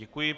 Děkuji.